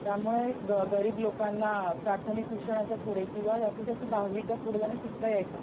त्यामुळे गरीब लोकांना प्राथमिक शिक्षणाच्या पुढे किंवा जास्तीत जास्त दहावीच्या पुढे त्यांना शिकता यायचं नाही.